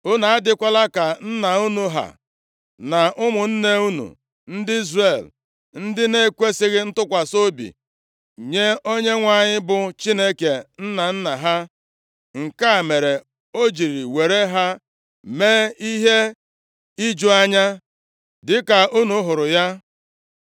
Unu adịkwala ka nna unu ha, na ụmụnne unu ndị Izrel, ndị na-ekwesighị ntụkwasị obi nye Onyenwe anyị, bụ Chineke nna nna ha, nke a mere o jiri were ha mee ihe iju anya, dịka unu hụrụ ya.